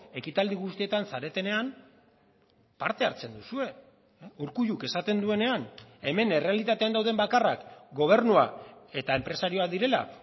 ekitaldi guztietan zaretenean parte hartzen duzue urkulluk esaten duenean hemen errealitatean dauden bakarrak gobernua eta enpresarioak direla